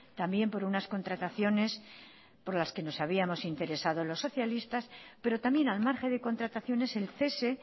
también por unas contrataciones por las que nos habíamos interesado los socialistas pero también al margen de contrataciones el cese